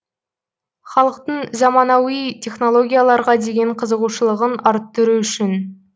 халықтың заманауи технологияларға деген қызығушылығын арттыру үшін